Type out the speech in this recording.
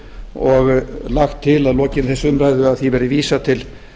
og lagt til að að lokinni þessari umræðu verði því vísað til